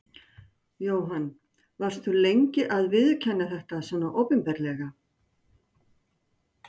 Jóhann: Varst þú lengi að viðurkenna þetta svona opinberlega?